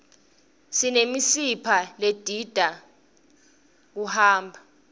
sinemisipha ledidta skwoti kuhamba